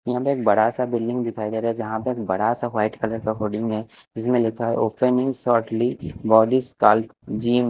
यहाँ पे एक बड़ा स बिल्डिंग दिखाई दे रहा है जहां पे एक बड़ा सा व्हाइट कलर का कोडिंग है जिसमे लिखा है open in shortly body gym.